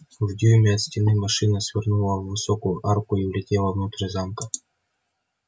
в дюйме от стены машина свернула в высокую арку и влетела внутрь замка